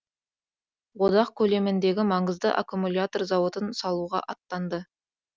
одақ көлеміндегі маңызды аккумлятор зауытын салуға аттанды